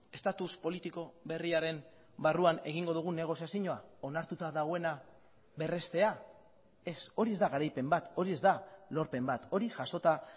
estatus politiko berriaren barruan egingo dugun negoziazioa onartuta dagoena berreztea ez hori ez da garaipen bat hori ez da lorpen bat hori jasota